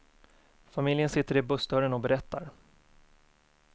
Familjen sitter i bussdörren och berättar.